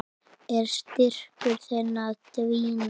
Er styrkur þinn að dvína?